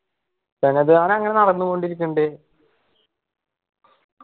ദാനം അങ്ങനെ നടന്നു കൊണ്ടിരിക്കുന്നുണ്ട്